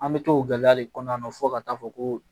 An bɛ to o gɛlɛya le kɔnɔna na fo ka taa fɔ ko